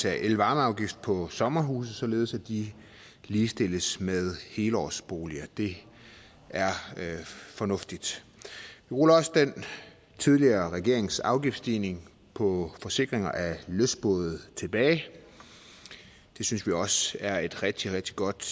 af elvarmeafgift på sommerhuse således at de ligestilles med helårsboliger det er fornuftigt vi ruller også den tidligere regerings afgiftsstigning på forsikringer af lystbåde tilbage det synes vi også er et rigtig rigtig godt